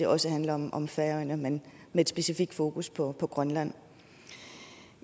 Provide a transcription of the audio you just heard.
også handler om om færøerne men med et specifikt fokus på på grønland